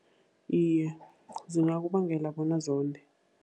Iye, zingakubangela bona zonde.